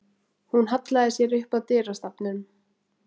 Hún hallaði sér upp að dyrastafnum.